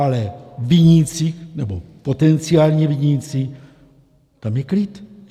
Ale viníci, nebo potenciální viníci, tam je klid.